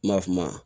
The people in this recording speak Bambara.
Ma fama